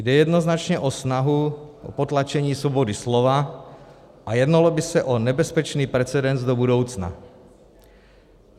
Jde jednoznačně o snahu o potlačení svobody slova a jednalo by se o nebezpečný precedens do budoucna.